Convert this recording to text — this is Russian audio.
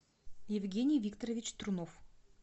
евгений викторович трунов